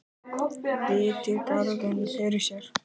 Virti garðinn fyrir sér.